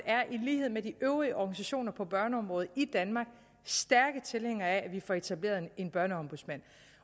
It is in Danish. er i lighed med de øvrige organisationer på børneområdet i danmark stærke tilhængere af at vi får etableret en børneombudsmand